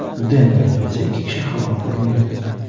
Denverda esa ikki kishi halok bo‘lgan.